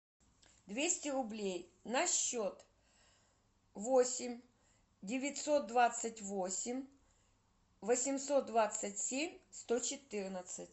двести рублей на счет восемь девятьсот двадцать восемь восемьсот двадцать семь сто четырнадцать